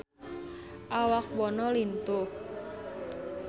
Awak Bono lintuh